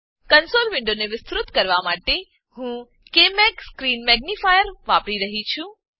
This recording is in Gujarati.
કંસોલ વિન્ડોને વિસ્તૃત કરવા માટે હું ક્માગ સ્ક્રીન મેગ્નિફાયર વાપરી રહ્યી છું